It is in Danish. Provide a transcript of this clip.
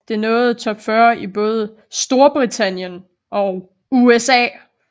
Det nåede top 40 i både STORBRITANNIEN og USA